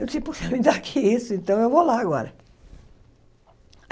Eu disse, puxa, me dá aqui isso, então eu vou lá agora.